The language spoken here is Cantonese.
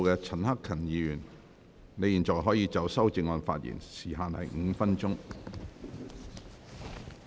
陳克勤議員，你現在可以就修正案發言，時限為5分鐘。